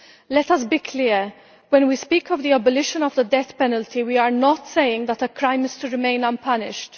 Let us be clear when we speak of the abolition of the death penalty, we are not saying that a crime is to remain unpunished.